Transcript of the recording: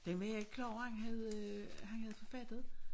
Den var jeg ikke klar over han havde han havde forfattet